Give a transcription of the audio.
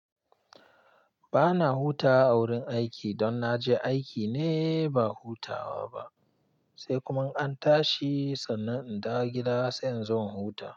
Ba na hutawa a wurin aiki don na je aiki ne ba hutawa ba, sai kuma an tashi sannan in dawo gida sai in zo in huta.